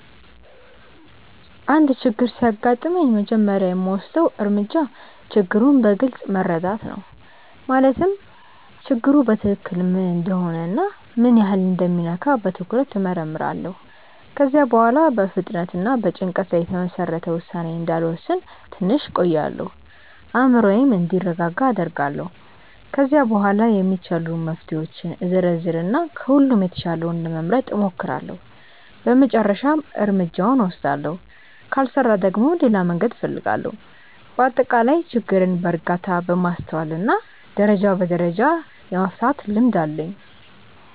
አንድ ችግር ሲያጋጥመኝ መጀመሪያ የምወስደው እርምጃ ችግሩን በግልጽ መረዳት ነው። ማለትም ችግሩ በትክክል ምን እንደሆነ እና ምን ያህል እንደሚነካ በትኩረት እመርምራለሁ። ከዚያ በኋላ በፍጥነት በጭንቀት ላይ የተመሰረተ ውሳኔ እንዳልወስን ትንሽ እቆያለሁ፤ አእምሮዬም እንዲረጋጋ አደርጋለሁ። ከዚያ በኋላ የሚቻሉ መፍትሄዎችን እዘረዝር እና ከሁሉም የተሻለውን ለመምረጥ እሞክራለሁ በመጨረሻም እርምጃውን እወስዳለሁ። ካልሰራ ደግሞ ሌላ መንገድ እፈልጋለሁ። በአጠቃላይ ችግርን በእርጋታ፣ በማስተዋል እና ደረጃ በደረጃ የመፍታት ልምድ አለኝ።